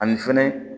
Ani fɛnɛ